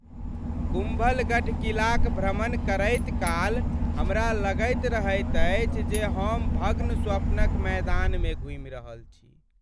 कुम्भलगढ़ किलाक भ्रमण करैत काल हमरा लगैत रहैत अछि जे हम भग्न स्वप्नक मैदान मे घूमि रहल छी।